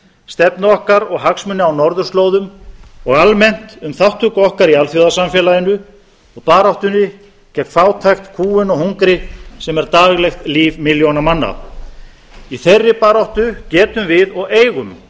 stefnu okkar og hagsmuni á norðurslóðum og almennt um þátttöku okkar í alþjóðasamfélaginu og baráttunni gegn fátækt kúgun og hungri sem er daglegt líf milljóna manna í þeirri baráttu getum við og eigum